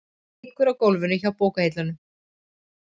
Liggur á gólfinu hjá bókahillunum.